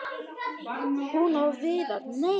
Hún og Viðar- nei!